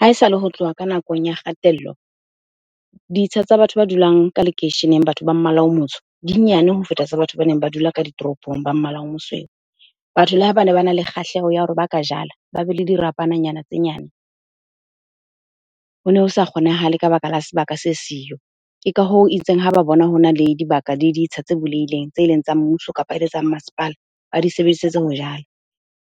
Ha esale ho tloha ka nakong ya kgatello, ditsha tsa batho ba dulang ka lekeisheneng, batho ba mmala o motsho, dinyane ho feta tsa batho ba neng ba dula ka ditoropong ba mmala o mosweu. Batho le ha bane bana le kgahleho ya hore ba ka jala, ba be le dirapananyana tse nyane, hone ho sa kgonahale ka baka la sebaka se siyo. Ke ka hoo itseng ha ba bona hona le dibaka, diditsha tse bulehileng tse leng tsa mmuso kapa ele tsa masepala, ba di sebedisetse ho jala.